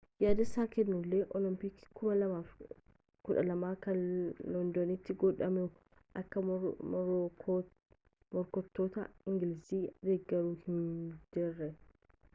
yaada isaa kennullee olompikii 2012 kan londanitti godhamuun akka morkattoota ingilizii deggaru himee jira